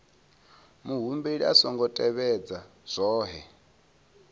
muhumbeli a songo tevhedza zwohe